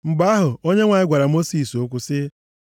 Mgbe ahụ, Onyenwe anyị gwara Mosis okwu sị,